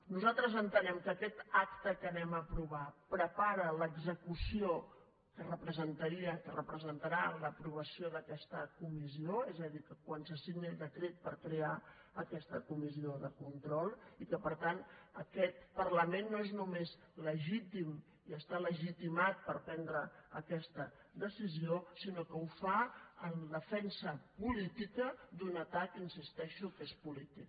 nosaltres entenem que aquest acte que aprovarem prepara l’execució que representaria que representarà l’aprovació d’aquesta comissió és a dir quan se signi el decret per crear aquesta comissió de control i que per tant aquest parlament no és només legítim i està legitimat per prendre aquesta decisió sinó que ho fa en defensa política d’un atac hi insisteixo que és polític